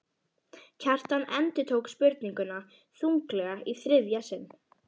Kjartan endurtók spurninguna þunglega í þriðja sinn.